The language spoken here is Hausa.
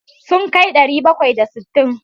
Sun kai ɗari bakwai da sittin.